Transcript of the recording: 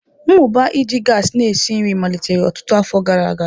Mmụba iji gasi na-esi nri malitere ọtụtụ afọ gara aga.